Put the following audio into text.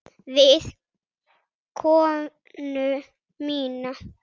Við konu mína.